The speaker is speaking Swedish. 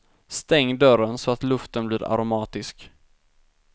Stäng dörren så att luften blir aromatisk.